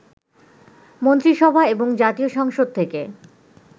মন্ত্রিসভা এবং জাতীয় সংসদ থেকে